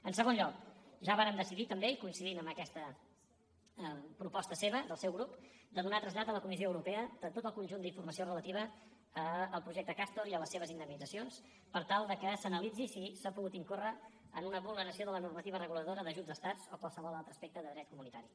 en segon lloc ja vàrem decidir també i coincidint en aquesta proposta seva del seu grup de donar trasllat a la comissió europea de tot el conjunt d’informació relativa al projecte castor i a les seves indemnitzacions per tal que s’analitzi si s’ha pogut incórrer en una vulneració de la normativa reguladora d’ajuts a estats o qualsevol altre aspecte de dret comunitari